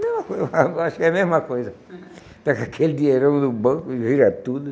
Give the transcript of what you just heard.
Mesma coisa eu acho que é a mesma coisa. Pega aquele dinheirão no banco e vira tudo.